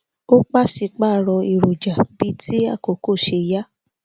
ó paṣípààrọ èròjà bíi ti àkókò ṣe yá